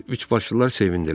Üçbaşlılar sevindilər.